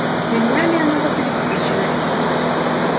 ремнями оно вас обеспечивает